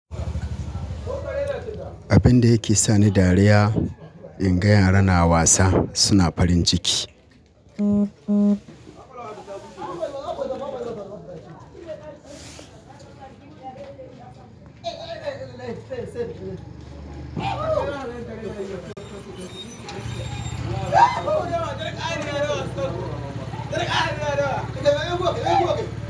Abin da yake sa ni dariya in ga yara na wasa suna farin ciki.